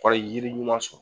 O kɔrɔ ye yiri ɲuman sɔrɔ